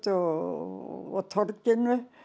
og torginu